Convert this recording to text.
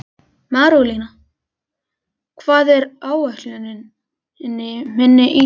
Marólína, hvað er á áætluninni minni í dag?